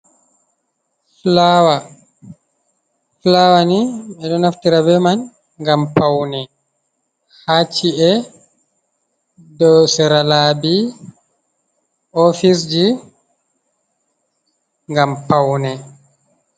Fulaawa. Fulaawa ni, ɓe ɗo naftira be man ngam paune haa ci'e, be sera laabi, ofis ji, ngam paune.